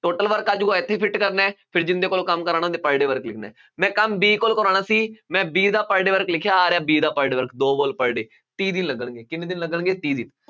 total work ਆ ਜਾਊਗਾ ਇੱਥੇ ਫਿੱਟ ਕਰਨਾ, ਫਿਰ ਜਿਹਦੇ ਕੋਲੋਂ ਕੰਮ ਕਰਾਉਣਾ ਉਹਦੇ per day work ਲਿਖਣਾ ਹੈ, ਮੈਂ ਕੰਮ B ਕੋਲੋਂ ਕਰਾਉਣਾ ਸੀ, ਮੈਂ B ਦਾ per day work ਲਿਖਿਆ, ਆਹ ਰਿਹਾ B ਦਾ per day work ਦੋ wall per day ਤੀਹ ਦਿਨ ਲੱਗਣਗੇ, ਕਿੰਨੇ ਦਿਨ ਲੱਗਣਗੇ ਤੀਹ ਦਿਨ,